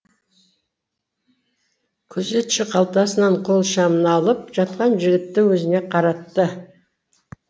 күзетші қалтасынан қол шамын алып жатқан жігітті өзіне қаратты